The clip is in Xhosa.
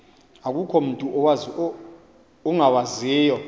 akukho mutu ungawaziyo